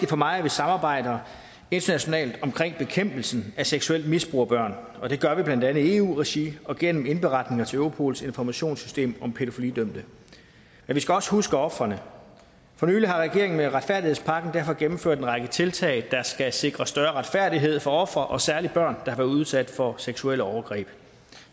for mig at vi samarbejder internationalt omkring bekæmpelsen af seksuelt misbrug af børn og det gør vi blandt andet i eu regi og gennem indberetninger til europols informationssystem om pædofilidømte men vi skal også huske ofrene for nylig har regeringen med retfærdighedspakken derfor gennemført en række tiltag der skal sikre større retfærdighed for ofre og særlig børn der har været udsat for seksuelle overgreb